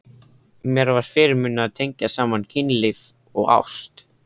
Mér var fyrirmunað að tengja saman kynlíf og ást.